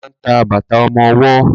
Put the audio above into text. Mo ma ń ta bàtà ọmọwọ́.